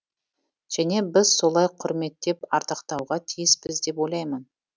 және біз солай құрметтеп ардақтауға тиіспіз деп ойлаймын